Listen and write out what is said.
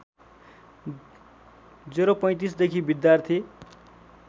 ०३५ देखि विद्यार्थी